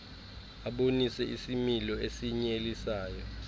abonise isimilo esinyelisayo